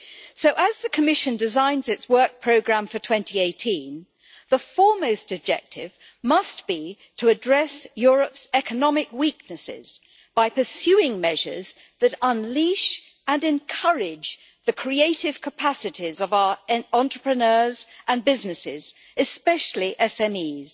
So as the Commission designs its work programme for 2018, the foremost objective must be to address Europe's economic weaknesses by pursuing measures that unleash and encourage the creative capacities of our entrepreneurs and businesses, especially SMEs.